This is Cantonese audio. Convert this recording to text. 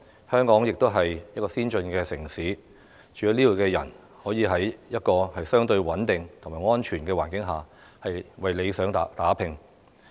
香港也是先進的城市，居民可以在相對穩定和安全的環境下為理想打拼。